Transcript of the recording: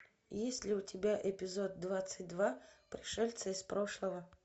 есть ли у тебя эпизод двадцать два пришельцы из прошлого